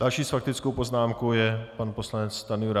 Další s faktickou poznámkou je pan poslanec Stanjura.